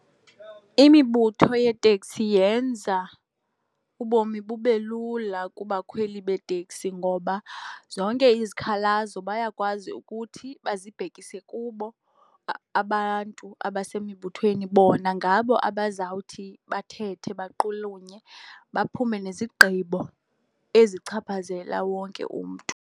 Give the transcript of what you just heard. Imibutho yeetekisi yenza ubomi bube lula kubakhweli beeteksi ngoba zonke izikhalazo bayakwazi ukuthi bazibhekise kubo abantu abasemibuthweni. Bona ngabo abazawuthi bathethe, baqulunye, baphume nezigqibo ezichaphazela wonke umntu.